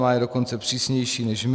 Má je dokonce přísnější než my.